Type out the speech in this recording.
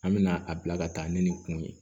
An mɛna a bila ka taa ni nin kun ye